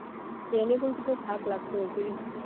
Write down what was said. એને પણ કેટલો થાક લાગતો હશે